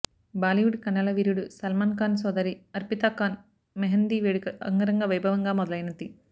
బాలీవుడ్ కండల వీరుడు సల్మాన్ ఖాన్ సోదరి అర్పితా ఖాన్ మెహందీ వేడుక అంగరంగ వైభవంగా మొదలైనది